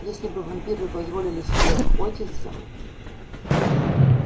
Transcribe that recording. если бы вампиры позволили себе охотиться